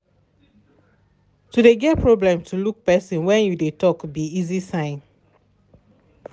to de get problem to look person went you de talk be easy sign.